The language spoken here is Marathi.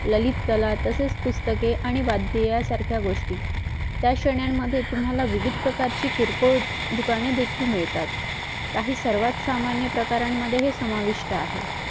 ललितकला तसेच पुस्तके आणि वाद्य यासारखे गोष्टी त्याश्रेण्यांमध्ये तुम्हाला विविध प्रकार ची दुकाने देखील मिळतात काही सर्वात सामान्य प्रकारामध्ये समाविष्ट आहे